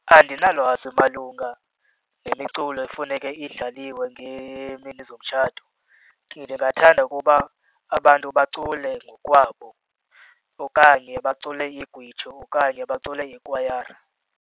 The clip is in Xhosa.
Andinalwazi malunga nemiculo efuneke idlaliwe ngeemini zomtshato. Ndingathanda ukuba abantu bacule ngokwabo okanye bacule igwijo okanye bacule ikwayara.